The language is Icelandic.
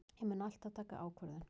Ég mun alltaf taka ákvörðun.